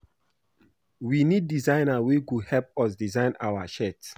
We need designers wey go help us design our shirt